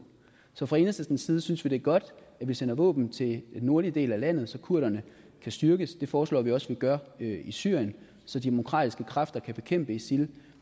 så fra enhedslistens side synes vi det er godt at vi sender våben til den nordlige del af landet så kurderne kan styrkes det forslår vi også vi gør i syrien så de demokratiske kræfter kan kæmpe isil